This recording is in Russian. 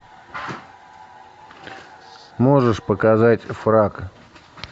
можешь показать фрак